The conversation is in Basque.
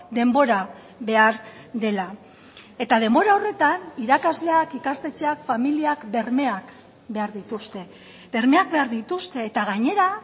denbora behar dela eta denbora horretan irakasleak ikastetxeak familiak bermeak behar dituzte bermeak behar dituzte eta gainera